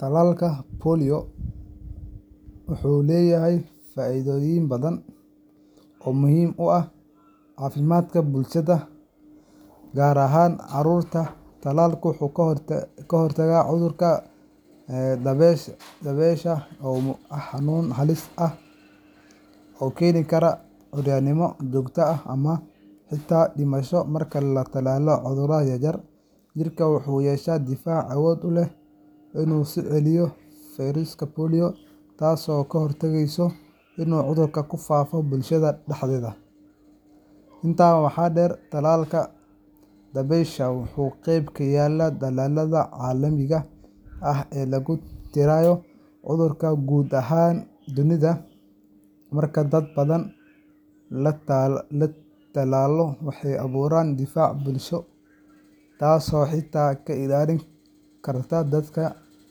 Tallaalka dabaysha polio wuxuu leeyahay faa’iidooyin badan oo muhiim u ah caafimaadka bulshada, gaar ahaan carruurta. Tallaalku wuxuu ka hortagaa cudurka dabaysha oo ah xanuun halis ah oo keeni kara curyaannimo joogto ah ama xitaa dhimasho. Marka la tallaalo carruurta yaryar, jirka wuxuu yeeshaa difaac awood u leh inuu iska celiyo fayraska polio, taasoo ka hortagaysa inuu cudurku ku faafo bulshada dhexdeeda. Intaa waxaa dheer, tallaalka dabaysha wuxuu qayb ka yahay dadaallada caalamiga ah ee lagu tirtirayo cudurkan guud ahaan dunida. Marka dad badan la tallaalo, waxaa abuurma difaac bulsho herd immunity, taasoo xitaa ka ilaalin karta dadka